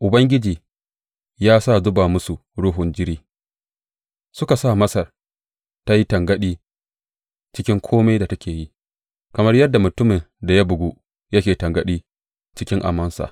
Ubangiji ya sa zuba musu ruhun jiri; suka sa Masar ta yi tangaɗi cikin kome da take yi, kamar yadda mutumin da ya bugu yake tangaɗi cikin amansa.